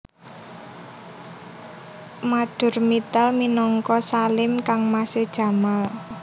Madhur Mittal minangka Salim kangmasé Jamal